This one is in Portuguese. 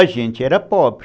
A gente era pobre.